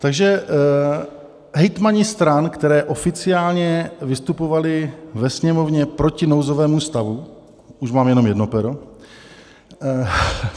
Takže hejtmani stran, které oficiálně vystupovaly ve Sněmovně proti nouzovému stavu - už mám jenom jedno pero.